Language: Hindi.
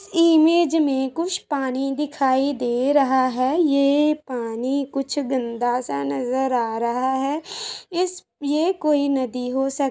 इस इमेज में कुछ पानी दिखाइ दे रहा है। ये पानी कुछ गन्दा सा नज़र रहा है इस ये कोई नदी हो सक --